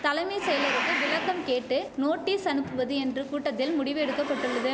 தலைமை செயலருக்கு விளக்கம் கேட்டு நோட்டீஸ் அனுப்புவது என்று கூட்டத்தில் முடிவு எடுக்க பட்டுள்ளது